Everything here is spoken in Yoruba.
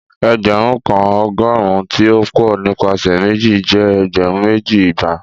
ẹgbẹrun kan ọgọrun ti o pọ nipasẹ meji jẹ ẹgbẹrun meji, igba.